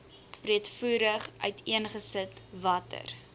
breedvoerig uiteengesit watter